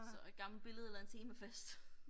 Så et gammelt billede eller en temafest